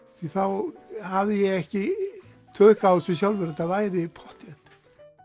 þá hafði ég ekki tök á þessu sjálfur að þetta væri pottþétt